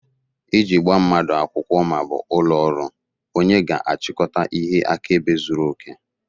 Iji gbaa mmadụ akwụkwọ ma ọ bụ ụlọ ọrụ, onye ga-achịkọta ihe akaebe zuru oke